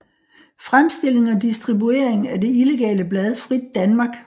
Fremstilling og distribuering af det illegale blad Frit Danmark